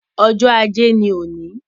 Ọjọ́ ajé ni òní